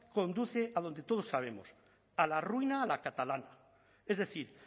conduce a donde todos sabemos a la ruina a la catalana es decir